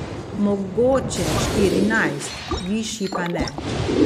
Mogoče štirinajst, višji pa ne.